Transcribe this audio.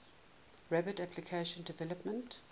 rapid application development